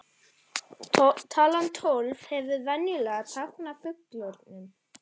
Talan tólf hefur venjulega táknað fullkomnum.